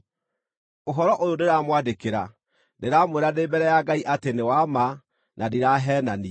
Ũhoro ũyũ ndĩramwandĩkĩra, ndĩramwĩra ndĩ mbere ya Ngai atĩ nĩ wa ma na ndiraheenania.